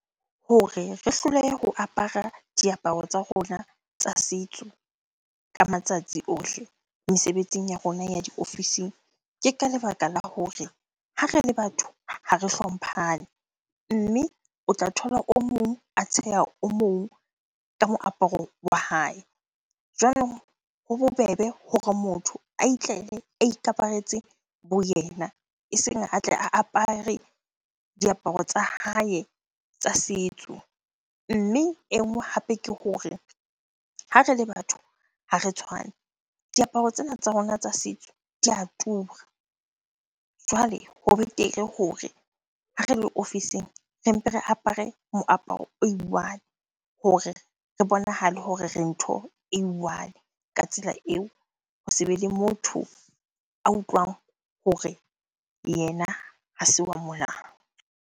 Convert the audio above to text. Hore re hlolehe ho apara diaparo tsa rona tsa setso ka matsatsi ohle mesebetsing ya rona ya diofising. Ke ka lebaka la hore ha re le batho ha re hlomphane, mme o tla thola o mong a tsheha o mong ka moaparo wa hae. Jwanong ho bobebe hore motho a itlele a ikaparetse bo yena eseng a tle a apare diaparo tsa hae tsa setso. Mme e nngwe hape ke hore ha re le batho ha re tshwane, diaparo tsena tsa rona tsa setso di a tura. Jwale ho betere hore ha re le ofising, re mpe re apare moaparo o i-one hore re bonahale hore re ntho e i-one. Ka tsela eo ho se be le motho a utlwang hore yena ha se wa mona.